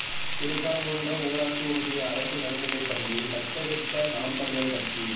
திருப்பரங்குன்றம் ஊராட்சி ஒன்றிய அரசு நடுநிலைப்பள்ளியைத் தத்தெடுத்த நாம் தமிழர் கட்சி